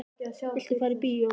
Viltu fara í bíó?